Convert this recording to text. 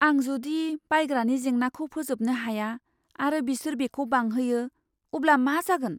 आं जुदि बायग्रानि जेंनाखौ फोजोबनो हाया आरो बिसोर बेखौ बांहोयो, अब्ला मा जागोन?